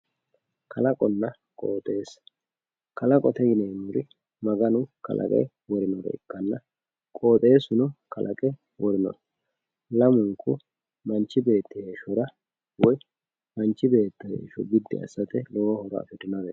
kalaqonna qooxeessa kalaqote yineemmori maganu kalaqe worinore ikkanna qooxeessuno kalaqe worinoho lamunku manchi beetti heeshshora woy manchi beetti heeshsho biddi assate lowo horo afirinoreeti.